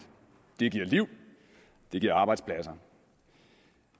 det giver liv og det giver arbejdspladser